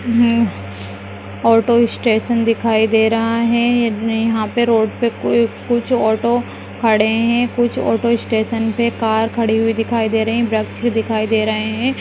हम्म auto station दिखाई दे रहा है यहाँ पे रोड पे कुछ ऑटो खड़े है कुछ ऑटो स्टेशन पे कार खड़ी हुई दिखाई दे रही है दिखाई दे रहे है।